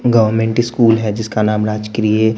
गांव में इनके स्कूल है जिसका नाम राजक्रिय--